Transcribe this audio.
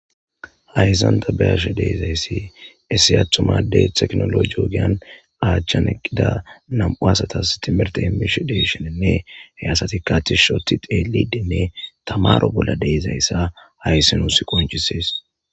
Hayisan tani beashe dizayisi issi atuma adde techinoloje ogiyan aachan eqida nam'u asatas timirte emishe deishenine he asatika tishi oti xelishedine tamaro bola deizaysa hayis nusi qonchises.